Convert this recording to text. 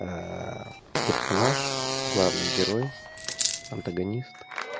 персонаж главный герой антагонист